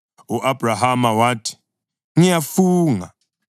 U-Abhrahama wathi, “Ngiyafunga.”